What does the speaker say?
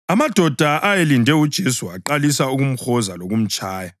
Amadoda ayelinde uJesu aqalisa ukumhoza lokumtshaya.